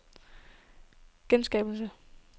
genskabelse